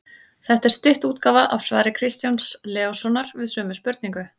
Þetta er stytt útgáfa af svari Kristjáns Leóssonar við sömu spurningu.